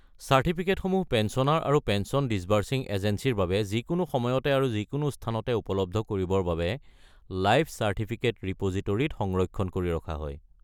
চাৰ্টিফিকেটসমূহ পেঞ্চনাৰ আৰু pension disbursing এজেঞ্চীৰ বাবে যিকোনো সময়তে আৰু যিকোনো স্থানতে উপলব্ধ কৰিবৰ বাবে লাইফ চাৰ্টিফিকেট ৰিপ'জিটোৰীত সংৰক্ষণ কৰি ৰখা হয়।